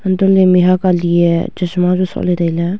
antoh ley mehak alie e chasma Chu shohley tailey.